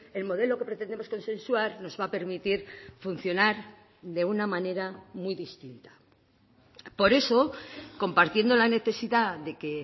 el modelo que pretendemos consensuar nos va a permitir funcionar de una manera muy distinta por eso compartiendo la necesidad de que